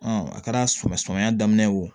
a kɛra samiya sama daminɛ o